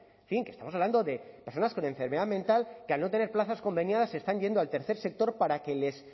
en fin que estamos hablando de personas con enfermedad mental que al no tener plazas conveniadas se están yendo al tercer sector para que les